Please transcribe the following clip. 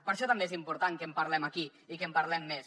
per això també és important que en parlem aquí i que en parlem més